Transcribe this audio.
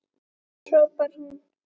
hrópar hún.